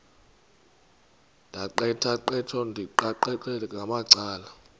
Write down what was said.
ndaqetheqotha ndiqikaqikeka ngamacala